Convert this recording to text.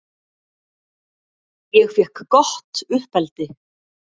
Ég fékk gott uppeldi.